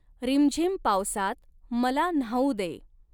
, रिमझिम पावसात मला न्हाऊू दे!